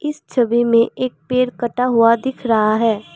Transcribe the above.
छवि मे एक पेड़ कटा हुआ दिख रहा है।